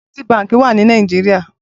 Citi bànkí wà ni Nàijiriá